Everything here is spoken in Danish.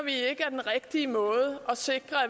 det er måde at sikre